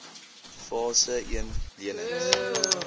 fase een lenings